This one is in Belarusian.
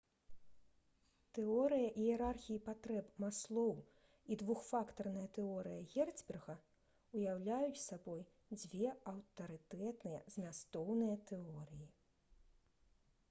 «тэорыя іерархіі патрэб» маслоў і «двухфактарная тэорыя» герцберга ўяўляюць сабой дзве аўтарытэтныя змястоўныя тэорыі